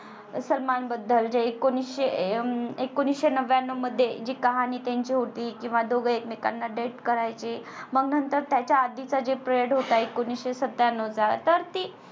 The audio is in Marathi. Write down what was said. सलमान बद्दल जे एकोणीशे अं एकोणीशे नव्यान्नव मध्ये जी कहाणी त्यांची होती किंवा दोघ एकमेकांना date करायचे मंग नंतर त्याच्या आधीचा जे प Period होता एकोणीशे सत्त्याण्णव चा तर ती